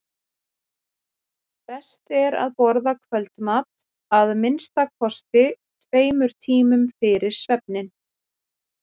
best er að borða kvöldmat að minnsta kosti tveimur tímum fyrir svefninn